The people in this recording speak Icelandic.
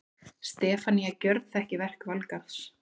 Stefanía gjörþekki verk Valgarðs.